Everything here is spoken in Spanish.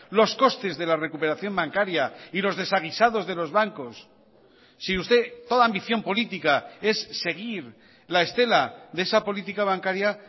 los costes de la recuperación bancaria y los desaguisados de los bancos si usted toda ambición política es seguir la estela de esa política bancaria